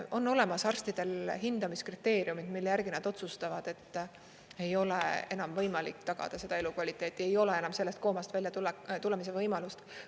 On olemas arstidel hindamiskriteeriumid, mille järgi nad otsustavad, et ei ole enam võimalik tagada seda elukvaliteeti, ei ole enam sellest koomast väljatulemise võimalust.